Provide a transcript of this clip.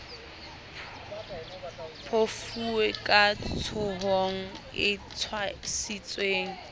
phofue ka tshohang e tshwasitswe